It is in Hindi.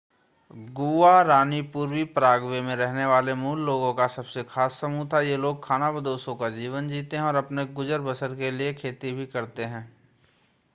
गुआरानी पूर्वी पराग्वे में रहने वाले मूल लोगों का सबसे खास समूह था ये लोग खानाबदोशों का जीवन जीते हैं और अपने गुजर-बसर के लिए खेती भी करते हैं